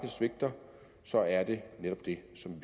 svigter så er det netop det som